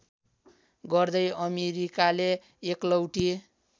गर्दै अमेरिकाले एकलौटी